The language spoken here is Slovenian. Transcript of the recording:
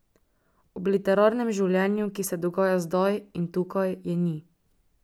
Ob literarnem življenju, ki se dogaja zdaj in tukaj, je ni.